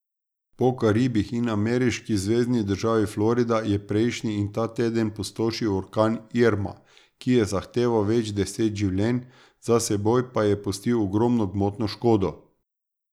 Po Karibih in ameriški zvezni državi Florida je prejšnji in ta teden pustošil orkan Irma, ki je zahteval več deset življenj, za seboj pa je pustil ogromno gmotno škodo.